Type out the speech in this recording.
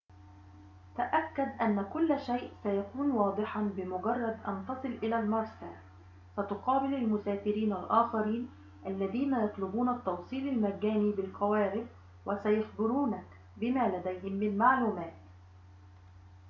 تأكد أن كل شئ سيكون واضحًا بمجرد أن تصل إلى المرسى ستقابل المسافرين الآخرين الذين يطلبون التوصيل المجاني بالقوارب وسيخبرونك بما لديهم من معلومات